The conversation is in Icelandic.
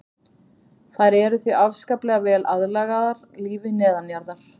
Þær eru því afskaplega vel aðlagaðar lífi neðanjarðar.